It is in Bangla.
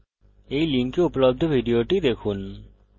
এই link উপলব্ধ video দেখুন